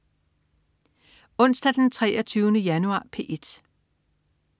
Onsdag den 23. januar - P1: